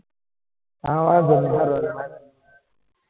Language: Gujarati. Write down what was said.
હાં વાંધો ની હાલો રેવાદો.